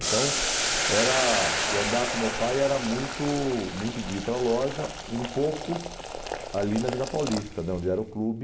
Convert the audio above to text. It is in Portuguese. Então era o andar com meu pai era muito muito de ir para a loja e um pouco ali na Vila Paulista, da onde era o clube.